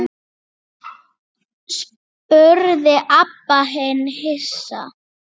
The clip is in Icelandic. Hvað nýtist og endist?